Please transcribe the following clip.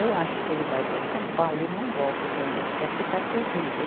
Eu acho que ele vai para São Paulo e não volta também, porque aqui está terrível.